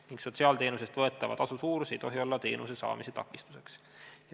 Ning: "Sotsiaalteenuse eest võetava tasu suurus ei tohi olla teenuse saamise takistuseks.